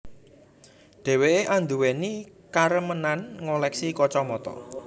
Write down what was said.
Dheweké anduweni karemenan ngoleksi kacamata